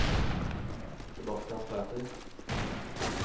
Sebastian Sæther